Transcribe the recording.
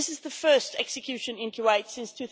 This is the first execution in Kuwait since